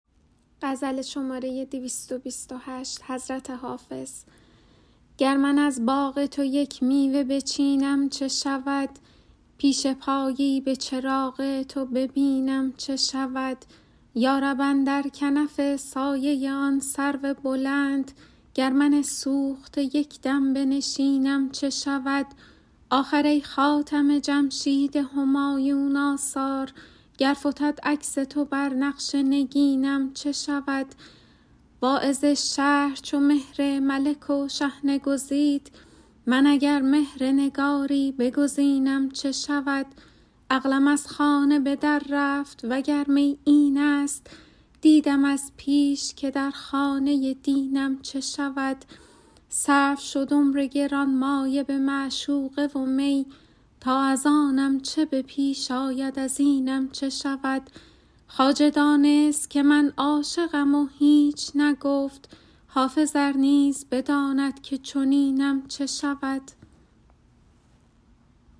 گر من از باغ تو یک میوه بچینم چه شود پیش پایی به چراغ تو ببینم چه شود یا رب اندر کنف سایه آن سرو بلند گر من سوخته یک دم بنشینم چه شود آخر ای خاتم جمشید همایون آثار گر فتد عکس تو بر نقش نگینم چه شود واعظ شهر چو مهر ملک و شحنه گزید من اگر مهر نگاری بگزینم چه شود عقلم از خانه به در رفت وگر می این است دیدم از پیش که در خانه دینم چه شود صرف شد عمر گرانمایه به معشوقه و می تا از آنم چه به پیش آید از اینم چه شود خواجه دانست که من عاشقم و هیچ نگفت حافظ ار نیز بداند که چنینم چه شود